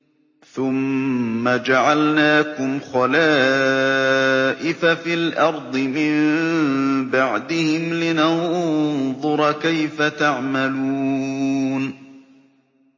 ثُمَّ جَعَلْنَاكُمْ خَلَائِفَ فِي الْأَرْضِ مِن بَعْدِهِمْ لِنَنظُرَ كَيْفَ تَعْمَلُونَ